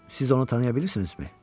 Siz onu tanıya bilirsinizmi?